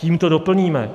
Kým to doplníme?